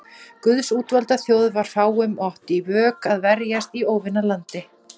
Guðs útvalda þjóð var fámenn og átti í vök að verjast í óvinalandi.